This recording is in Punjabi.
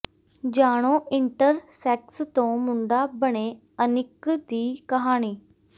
ਜਾਣੋ ਇੰਟਰ ਸੈਕਸ ਤੋਂ ਮੁੰਡਾ ਬਣੇ ਅਨਿਕ ਦੀ ਕਹਾਣੀ